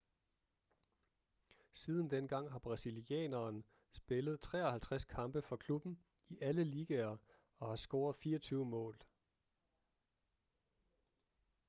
siden dengang har brasilianeren spillet 53 kampe for klubben i alle ligaer og har scoret 24 mål